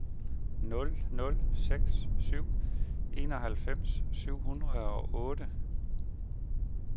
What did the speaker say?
nul nul seks syv enoghalvfems syv hundrede og otte